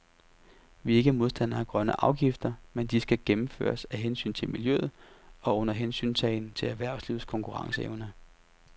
Vi er ikke modstander af grønne afgifter, men de skal gennemføres af hensyn til miljøet og under hensyntagen til erhvervslivets konkurrenceevne.